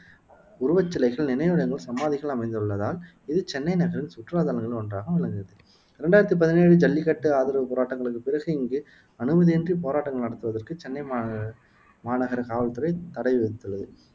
உருவச்சிலைகள், நினைவிடங்கள், சமாதிகள் அமைந்துள்ளதால் இது சென்னை நகரின் சுற்றுலா தலங்களில் ஒன்றாகவும் விளங்குகிறது ரெண்டாயிரத்தி பதினேழு ஜல்லிக்கட்டு ஆதரவு போராட்டங்களுக்குப் பிறகு இங்கு அனுமதியின்றிப் போராட்டங்கள் நடத்துவதற்கு சென்னை மாநக மாநகர காவல்துறை தடை விதித்துள்ளது